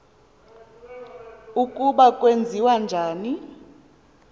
ukuba kwenziwa njani